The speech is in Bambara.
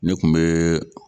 Ne kun be